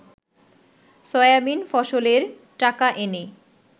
soybean ফসলের টাকা এনে